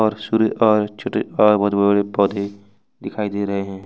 और सूर्य और छोटे और बहुत पौधे दिखाई दे रहे हैं।